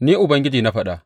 Ni Ubangiji na faɗa.